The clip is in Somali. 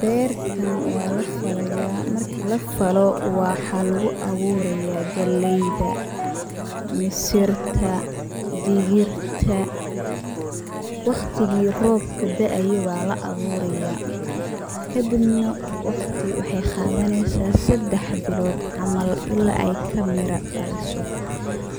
Beertan waa la falayaa, marki la falo waxaa lagu awurayaa, galleyda, misirta, digirta. Waqtigii robka da'ayo baa la awurayaa kadibna waqti waxey qadaneysaa seddex bilood camal ilaa ay ka mira dhaliso.